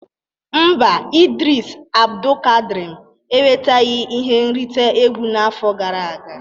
Mba, Idris Abdulkadrim enwetaghị ihe nrite egwu n'afọ gara aga